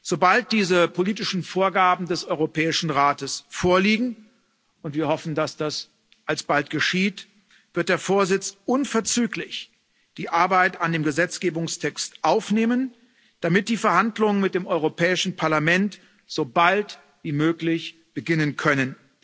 Sobald diese politischen Vorgaben des Europäischen Rates vorliegen und wir hoffen, dass das alsbald geschieht wird der Vorsitz unverzüglich die Arbeit an dem Gesetzgebungstext aufnehmen, damit die Verhandlungen mit dem Europäischen Parlament so bald wie möglich beginnen können.